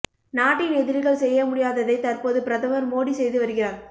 நாட்டின் எதிரிகள் செய்ய முடியாததை தற்போது பிரதமர் மோடி செய்து வருகிறார்